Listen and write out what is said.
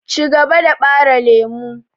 Cigaba da ɓare lemu!